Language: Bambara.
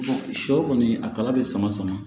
Sɔ kɔni a kala bɛ sama sama